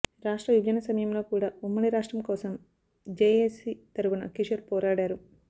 రాష్ట్ర విభజన సమయంలో కూడా ఉమ్మడి రాష్ట్రం కోసం జేఏసీ తరపున కిషోర్ పోరాడారు